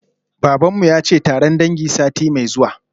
Baban mu yace taron dangi sati mai zuwa